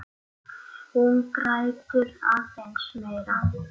Hún grætur aðeins meira.